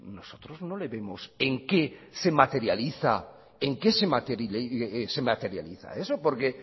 nosotros no le vemos en qué se materializa eso porque